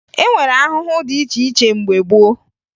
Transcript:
E nwere ahụhụ dị iche iche mgbe gboo